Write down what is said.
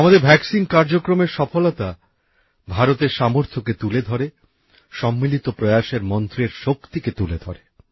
আমাদের টিকা কার্যক্রমের সাফল্য ভারতের সামর্থ্যকে তুলে ধরে সম্মিলিত প্রয়াসের মন্ত্রের শক্তিকে তুলে ধরে